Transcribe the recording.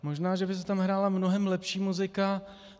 Možná že by se tam hrála mnohem lepší muzika.